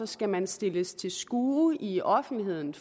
skal man stilles til skue i offentligheden